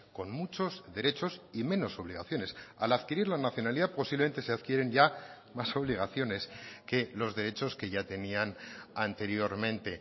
con muchos derechos y menos obligaciones al adquirir la nacionalidad posiblemente se adquieren ya más obligaciones que los derechos que ya tenían anteriormente